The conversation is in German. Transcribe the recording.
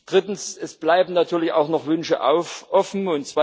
Drittens Es bleiben natürlich auch noch Wünsche offen.